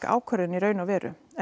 ákvörðun í raun og veru